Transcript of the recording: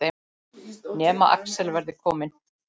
Nema Axel verði kominn.